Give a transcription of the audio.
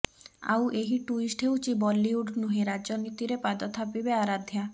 ଆଉ ଏହି ଟୁଇଷ୍ଟ ହେଉଛି ବଲିଉଡ ନୁହେଁ ରାଜନୀତିରେ ପାଦ ଥାପିବେ ଆରାଧ୍ୟା